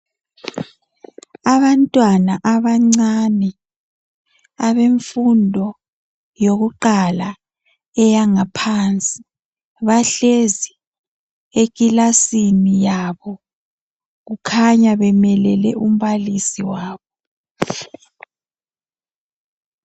abantwana abancane abemfundo yokuqala eyangaphansi bahlezi ekilasini yabo kukhanya bemelele umbalisi wabo